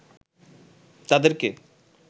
তাদেরকে